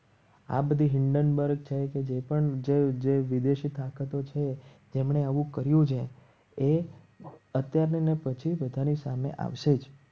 આ બધી હાયડેનબર્ગ છે. કે જે પણ જય જય વિદેશી તાકાતો છે. તેમણે આવું કર્યું છે. એ અત્યારે ને પછી બધાની સામે આવશે. જ